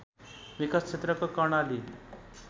विकास क्षेत्रको कर्णाली